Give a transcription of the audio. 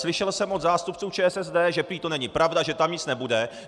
Slyšel jsem od zástupců ČSSD, že prý to není pravda, že tam nic nebude.